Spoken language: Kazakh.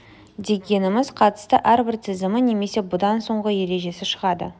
дегеніміз қатысты әрбір тізімі немесе бұдан соңғы ережесі шығады